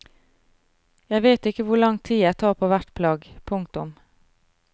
Jeg vet ikke hvor lang tid jeg tar på hvert plagg. punktum